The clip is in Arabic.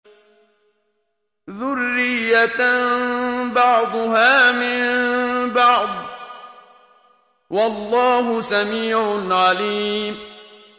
ذُرِّيَّةً بَعْضُهَا مِن بَعْضٍ ۗ وَاللَّهُ سَمِيعٌ عَلِيمٌ